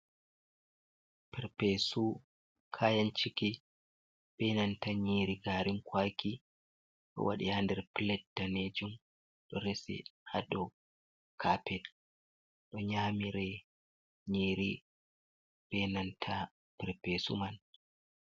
Perpesu kayan ciki be nanta nyiri garin kwaki, ɗo waɗi ha nder plat danejum ɗo rese ha dou kapet ɗo nyamire nyri benanta perpesu man.